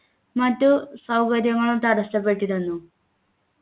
മറ്റു സൗകര്യങ്ങളും തടസ്സപ്പെട്ടിരുന്നു